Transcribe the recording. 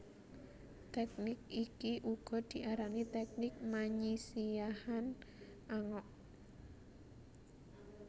Teknik iki uga diarani teknik manyisiahan angok